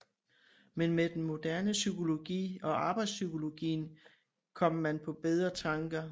Men med den moderne psykologi og arbejdspsykologien kom man på bedre tanker